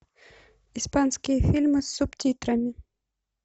испанские фильмы с субтитрами